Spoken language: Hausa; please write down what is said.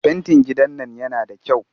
Fentin gidan nan yana da kyau